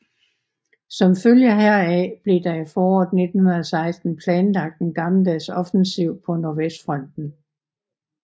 Som følge heraf blev der i foråret 1916 planlagt en gammeldags offensiv på nordvestfronten